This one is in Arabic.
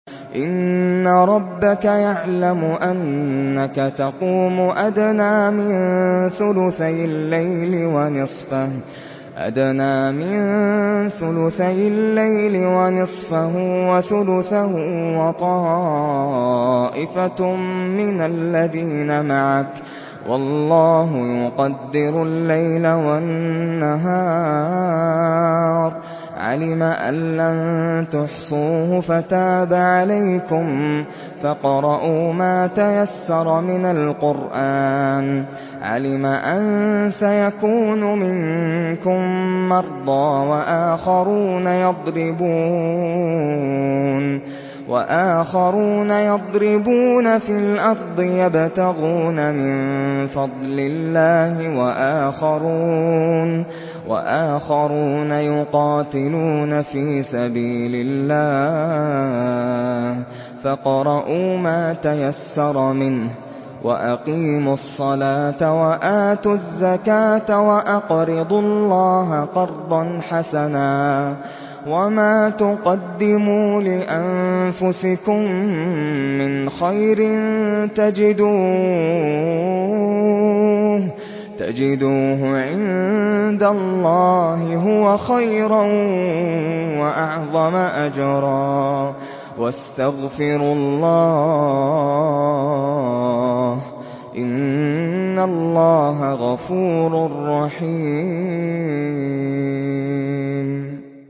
۞ إِنَّ رَبَّكَ يَعْلَمُ أَنَّكَ تَقُومُ أَدْنَىٰ مِن ثُلُثَيِ اللَّيْلِ وَنِصْفَهُ وَثُلُثَهُ وَطَائِفَةٌ مِّنَ الَّذِينَ مَعَكَ ۚ وَاللَّهُ يُقَدِّرُ اللَّيْلَ وَالنَّهَارَ ۚ عَلِمَ أَن لَّن تُحْصُوهُ فَتَابَ عَلَيْكُمْ ۖ فَاقْرَءُوا مَا تَيَسَّرَ مِنَ الْقُرْآنِ ۚ عَلِمَ أَن سَيَكُونُ مِنكُم مَّرْضَىٰ ۙ وَآخَرُونَ يَضْرِبُونَ فِي الْأَرْضِ يَبْتَغُونَ مِن فَضْلِ اللَّهِ ۙ وَآخَرُونَ يُقَاتِلُونَ فِي سَبِيلِ اللَّهِ ۖ فَاقْرَءُوا مَا تَيَسَّرَ مِنْهُ ۚ وَأَقِيمُوا الصَّلَاةَ وَآتُوا الزَّكَاةَ وَأَقْرِضُوا اللَّهَ قَرْضًا حَسَنًا ۚ وَمَا تُقَدِّمُوا لِأَنفُسِكُم مِّنْ خَيْرٍ تَجِدُوهُ عِندَ اللَّهِ هُوَ خَيْرًا وَأَعْظَمَ أَجْرًا ۚ وَاسْتَغْفِرُوا اللَّهَ ۖ إِنَّ اللَّهَ غَفُورٌ رَّحِيمٌ